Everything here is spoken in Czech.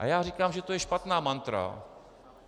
A já říkám, že to je špatná mantra.